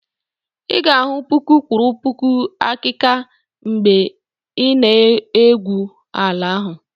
ị ga-ahụ puku kwụrụ puku akika mgbe ị n'egwu ala ahụ